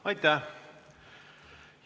Aitäh!